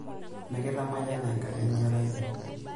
Mikitamayiana Enkai enkerai ai.